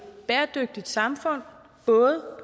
bæredygtigt samfund både